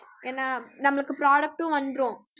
ஏன்னா நம்மளுக்கு product ம் வந்துரும்